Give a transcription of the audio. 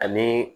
Ani